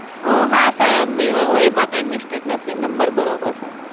હા sir એમાં કઈ mistake નથી, નંબર બરોબર છે.